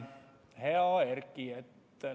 Hea Erki!